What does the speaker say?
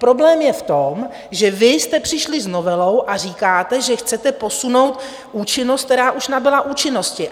Problém je v tom, že vy jste přišli s novelou a říkáte, že chcete posunout účinnost, která už nabyla účinnosti.